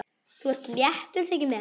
Þú ert léttur, þykir mér!